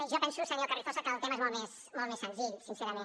jo penso senyor carrizosa que el tema és molt més senzill sincerament